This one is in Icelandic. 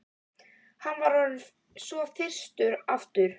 Hann var orðinn svo þyrstur aftur.